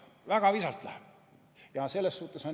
Väga visalt läheb!